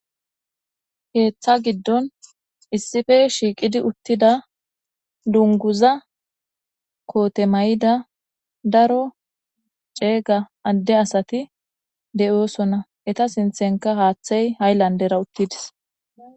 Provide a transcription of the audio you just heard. Keththa giddon issippe shiqqetid uttida dungguza kotte mayidda daro cegga adde asati de'osona eeta sinthenka hayilanders haththtey uttides.